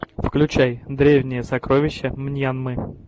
включай древние сокровища мьянмы